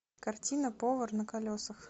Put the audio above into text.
картина повар на колесах